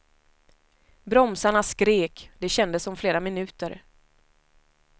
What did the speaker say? Bromsarna skrek, det kändes som flera minuter.